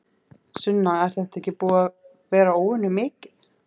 Sunna: Er þetta ekki búið að vera óvenju mikið?